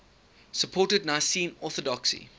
supported nicene orthodoxy